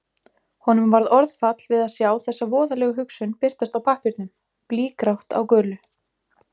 Honum varð orðfall við að sjá þessa voðalegu hugsun birtast á pappírnum, blýgrátt á gulu.